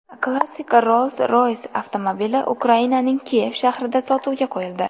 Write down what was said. Klassik Rolls-Royce avtomobili Ukrainaning Kiyev shahrida sotuvga qo‘yildi.